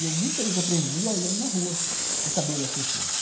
E eu muitas vezes aprendi olhando na rua o cabelo das pessoas.